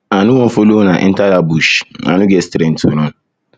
i no wan follow una enter dat bush i no get strength to run